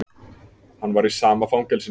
Hann var í sama fangelsinu.